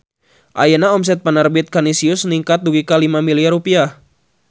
Ayeuna omset Penerbit Kanisius ningkat dugi ka 5 miliar rupiah